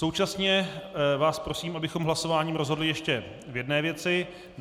Současně vás prosím, abychom hlasováním rozhodli ještě o jedné věci.